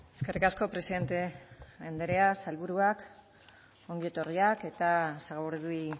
eskerrik asko presidente andrea sailburuak ongi etorriak eta sagardui